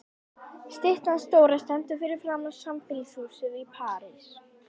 Styttan stóra stendur fyrir framan sambýlishúsið í París.